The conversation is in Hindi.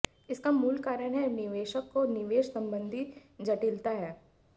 इसका मूल कारण है निवेशक को निवेश संबंधी जटिलता है